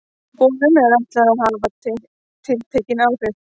Boðunum er ætlað að hafa tiltekin áhrif.